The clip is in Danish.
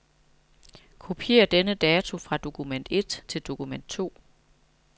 Kopier denne dato fra dokument et til dokument to.